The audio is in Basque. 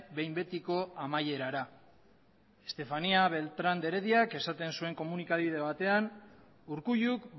behin betiko amaierara estefanía beltrán de herediak esaten zuen komunikabide batean urkulluk